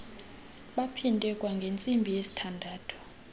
baphinde kwangentsimbi yesithandathu